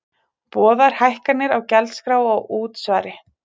Boðar hækkanir á gjaldskrá og útsvari